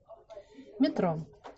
метро